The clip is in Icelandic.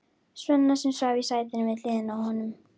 Svenna, sem svaf í sætinu við hliðina á honum.